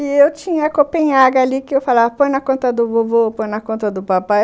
E eu tinha a copenhaga ali que eu falava, põe na conta do vovô, põe na conta do papai.